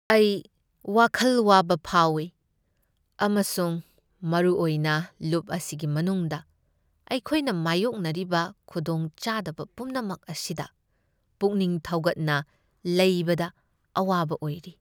ꯑꯩ ꯋꯥꯈꯜ ꯋꯥꯕ ꯐꯥꯎꯏ ꯑꯃꯁꯨꯡ ꯃꯔꯨꯑꯣꯏꯅ ꯂꯨꯞ ꯑꯁꯤꯒꯤ ꯃꯅꯨꯡꯗ ꯑꯩꯈꯣꯏꯅ ꯃꯥꯌꯣꯛꯅꯔꯤꯕ ꯈꯨꯗꯣꯡꯆꯥꯗꯕ ꯄꯨꯝꯅꯃꯛ ꯑꯁꯤꯗ ꯄꯨꯛꯅꯤꯡ ꯊꯧꯒꯠꯅ ꯂꯩꯕꯗ ꯑꯋꯥꯕ ꯑꯣꯏꯔꯤ꯫